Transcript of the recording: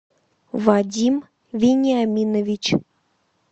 вадим вениаминович